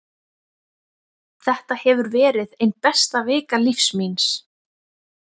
Þetta hefur verið ein besta vika lífs míns.